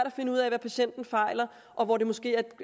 og finde ud af hvad patienten fejler og hvor der måske er